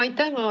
Jaa, aitäh!